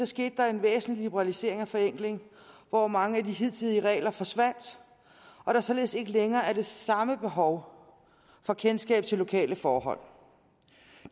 skete der en væsentlig liberalisering og forenkling hvor mange af de hidtidige regler forsvandt og der således ikke længere var det samme behov for kendskab til lokale forhold